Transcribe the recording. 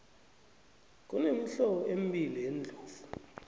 kunemihlobo embili yeendlovu